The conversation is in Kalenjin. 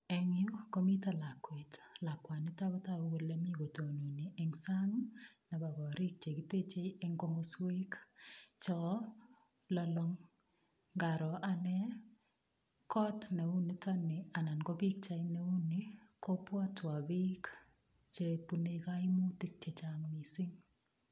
Eng yu komito lakwet. Lakwanito ko tagu mi kotononi eng sang nebo korik chekitechei eng komoswek cho lolong. Ngaro anne kot neu notok ni anan ko pikchait neu ni, kobwotwon biik chebunei kaimutik chechang mising.